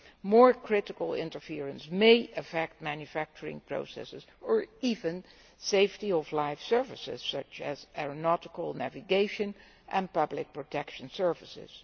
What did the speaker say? More critical interference may affect manufacturing processes or even the safety of live services such as aeronautical, navigation and public protection services.